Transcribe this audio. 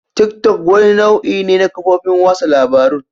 Tick-tock wani nau'i ne na kafofin watsa labarun.